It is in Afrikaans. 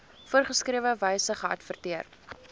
voorgeskrewe wyse geadverteer